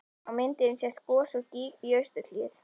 Á myndinni sést gos úr gíg í austurhlíð